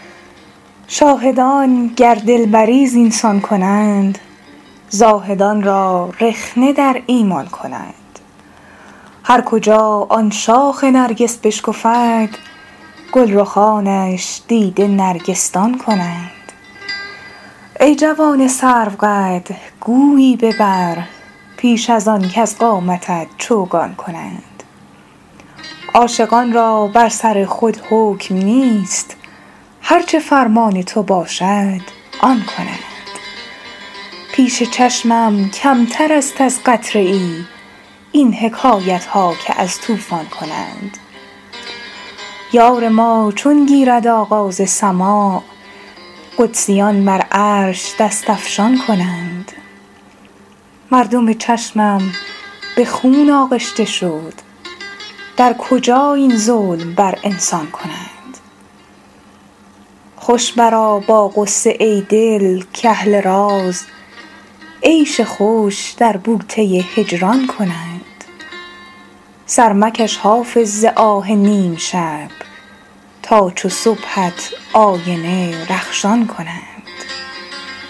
شاهدان گر دلبری زین سان کنند زاهدان را رخنه در ایمان کنند هر کجا آن شاخ نرگس بشکفد گل رخانش دیده نرگس دان کنند ای جوان سروقد گویی ببر پیش از آن کز قامتت چوگان کنند عاشقان را بر سر خود حکم نیست هر چه فرمان تو باشد آن کنند پیش چشمم کمتر است از قطره ای این حکایت ها که از طوفان کنند یار ما چون گیرد آغاز سماع قدسیان بر عرش دست افشان کنند مردم چشمم به خون آغشته شد در کجا این ظلم بر انسان کنند خوش برآ با غصه ای دل کاهل راز عیش خوش در بوته هجران کنند سر مکش حافظ ز آه نیم شب تا چو صبحت آینه رخشان کنند